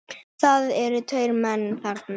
Það eru tveir menn þarna